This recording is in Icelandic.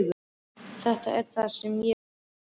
Þetta er það sem ég vil.